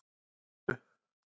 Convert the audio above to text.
Þrastargötu